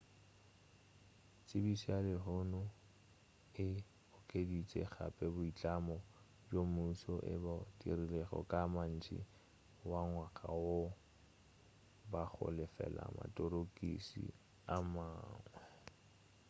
tsebišo ya lehono e okeditše gape boitlamo bjo mmušo e bo dirilego ka matšhe wa ngwaga wo ba go lefela matorokisi a mangwe